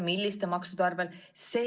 Milliste maksude arvel?